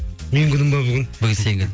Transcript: менің күнім бе бүгін бүгін сен